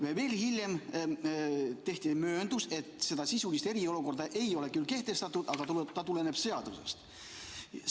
Mõni aeg hiljem tehti mööndus, et sisulist eriolukorda ei ole küll kehtestatud, aga et see tuleneb seadusest.